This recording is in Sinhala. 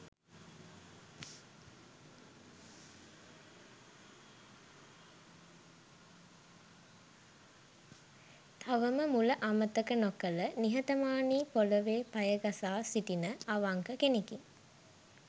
තවම මුල අමතක නොකළ නිහතමානී පොළොවේ පය ගසා සිටින අවංක කෙනෙකි.